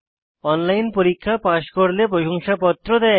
online পরীক্ষা pass করলে প্রশংসাপত্র দেয়